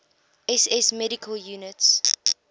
ss medical units